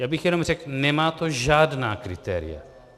Já bych jenom řekl, nemá to žádná kritéria.